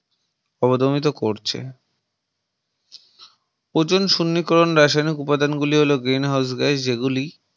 অবধমিত করছে ozone সনীকরণ রাসায়নিক উপাদান গুলি হল Green House Gas যে গুলি